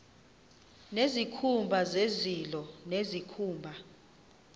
nezikhumba zezilo nezikhumba